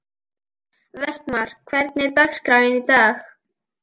Vestmar, hvernig er dagskráin í dag?